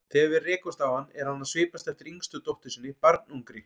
Þegar við rekumst á hann er hann að svipast eftir yngstu dóttur sinni, barnungri.